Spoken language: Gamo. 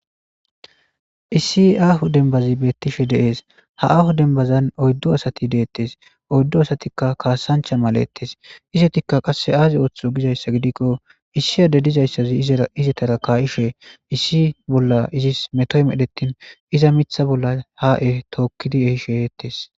Issi aahu denbazi beettishe deees ha aahu denbazan oyddo asati deettes oyddu asatikka kaasancha malettes izetikka qasse aazi ooththo gizayssa gidikko issi ade dizayssazi izara izatara kaa7ishe issi bolla izis metoy medhettin iza mitha bolla haa7e tookkidi ehishe eettes.